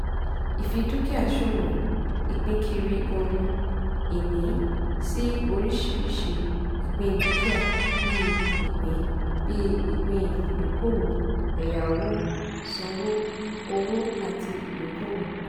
ìfidúkìá-ṣòwò - ìpínkiri ohun-ìní sí oríṣiríṣi ìpín dúkìá bíi ìpín bíi ìpín ìdókòwò ẹ̀yáwó-sanwó owó àti ìdókòwò.